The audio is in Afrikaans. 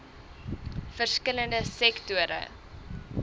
verskil lende sektore